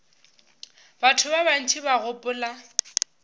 batho ba bantši ba gopola